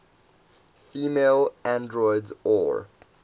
female androids or